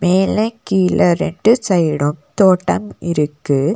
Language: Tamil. மேல கீழ ரெண்டு சைடும் தோட்டம் இருக்கு.